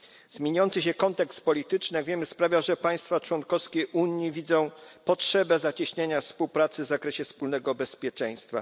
Zmieniający się kontekst polityczny, jak wiemy, sprawia, że państwa członkowskie Unii widzą potrzebę zacieśniania współpracy w zakresie wspólnego bezpieczeństwa.